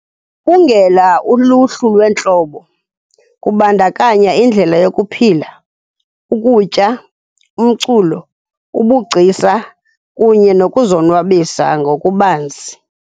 Igubungela uluhlu lweentlobo, kubandakanya indlela yokuphila, ukutya, umculo, ubugcisa kunye nokuzonwabisa ngokubanzi.